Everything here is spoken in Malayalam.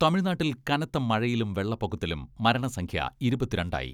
തമിഴ്നാട്ടിൽ കനത്ത മഴയിലും വെള്ളപ്പൊക്കത്തിലും മരണസംഖ്യ ഇരുപത്തിരണ്ട് ആയി.